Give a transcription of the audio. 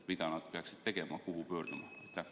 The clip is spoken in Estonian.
Mida nad peaksid tegema, kuhu pöörduma?